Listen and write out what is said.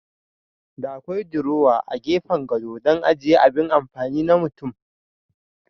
Da akwai diruwa a gefen gado dan ajiya abin amfani na mutum.